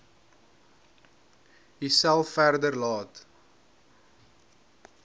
uself verder laat